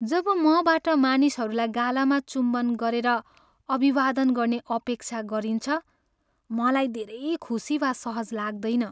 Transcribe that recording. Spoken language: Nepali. जब मबाट मानिसहरूलाई गालामा चुम्बन गरेर अभिवादन गर्ने अपेक्षा गरिन्छ मलाई धेरै खुसी वा सहज लाग्दैन।